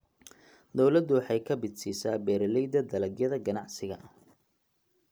Dawladdu waxay kabid siisaa beeralayda dalagyada ganacsiga.